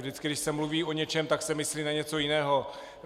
Vždycky když se mluví o něčem, tak se myslí na něco jiného.